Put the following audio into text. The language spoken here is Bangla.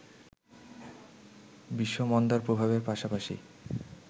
বিশ্বমন্দার প্রভাবের পাশাপাশি